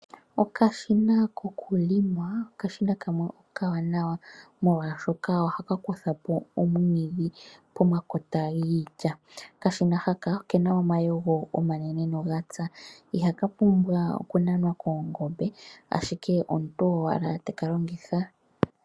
Okashina koku longa okashina kamwe okawanawa molwaashoka ohaka kuthapo omwiidhi pomakota giilya. Okashina haka okena omayego omanene noga tsa. Ihaka pumbwa oku nanwa koongombe, ashike omuntu owala teka longitha.